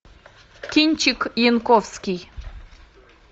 кинчик янковский